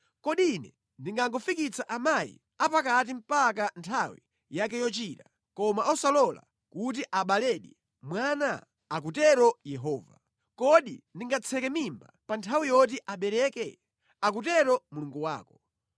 Kodi Ine ndingangofikitsa amayi apakati mpaka nthawi yake yochira, koma osalola kuti abaledi mwana?” akutero Yehova. “Kodi ndingatseke mimba pa nthawi yoti abeleke?” akutero Mulungu wako.